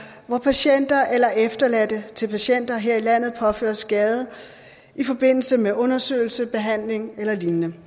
hvor patienter eller efterladte til patienter her i landet påføres skade i forbindelse med undersøgelse behandling eller lignende